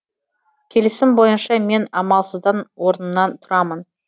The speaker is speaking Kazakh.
келісім бойынша мен амалсыздан орнымнан тұрамын